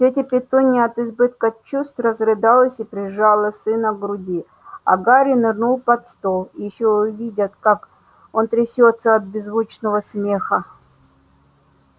тётя петунья от избытка чувств разрыдалась и прижала сына к груди а гарри нырнул под стол ещё увидят как он трясётся от беззвучного смеха